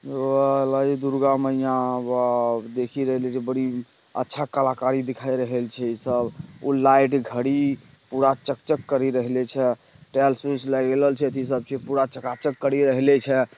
एगो हलइ दुर्गा मइया वाओ देखी रहली छी बड़ी अच्छा कलाकारी दिखाइल रहेल छे ई सब वो लाइट घड़ी पूरा चक-चक कर ही रहेले छे टाइल्स -उइलेस लगइले छे ई सब चीज पूरा चका-चक कर ही रहले छे।